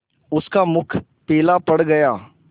उसका मुख पीला पड़ गया